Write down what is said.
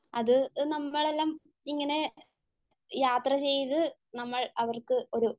അത് നമ്മളെല്ലാം ഇങ്ങനെ യാത്ര ചെയ്തു നമ്മൾ അവർക്ക് ഒരു,